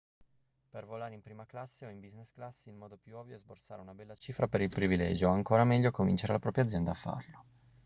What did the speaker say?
per volare in prima classe o in business class il modo più ovvio è sborsare una bella cifra per il privilegio o ancora meglio convincere la propria azienda a farlo